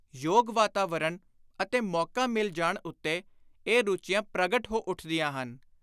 ਯੋਗ ਵਾਤਾਵਰਣ ਅਤੇ ਮੌਕਾ ਮਿਲ ਜਾਣ ਉੱਤੇ ਇਹ ਰੁਚੀਆਂ ਪ੍ਰਗਟ ਹੋ ਉੱਠਦੀਆਂ ਹਨ।